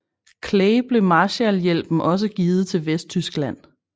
Clay blev Marshallhjælpen også givet til Vesttyskland